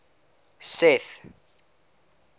seth